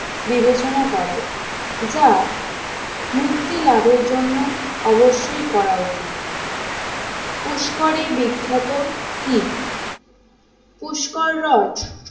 বিবেচনা করে যা মুক্তি লাভের জন্য অবশ্যই করা উচিত পুষ্করে বিখ্যাত কি? পুষ্কর হ্রদ